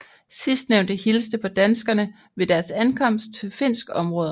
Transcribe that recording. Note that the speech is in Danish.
Sidstnævnte hilste på danskerne ved deres ankomst til finsk område